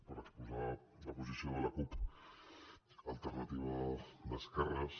per exposar la posició de la cup alternativa d’esquerres